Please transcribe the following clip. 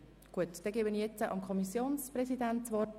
Somit hat nun der Kommissionspräsident das Wort.